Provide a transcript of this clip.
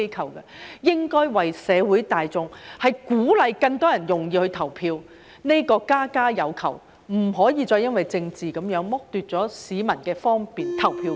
它們應該顧及社會大眾，鼓勵更多人容易投票，這是家家有求，不可再因政治而剝奪市民的方便投票權。